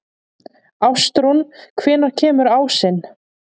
Ástrún, hvenær kemur ásinn?